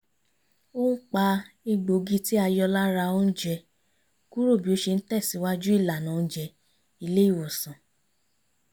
ó ń pa egbògi tí a yọ lára oúnjẹ kúrò bí ó ṣe ń tẹ̀sìwájú ìlànà oùnjẹ ilé ìwòsàn